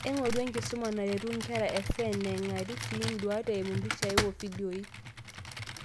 Eng'oru enkisuma naretu inkera e SEND neng'ari sii induat eimu mpishai wofidioi.